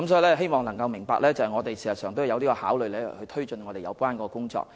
我希望議員明白我們事實上有考慮推進有關工作。